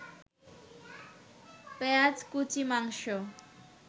পেঁয়াজকুচি, মাংস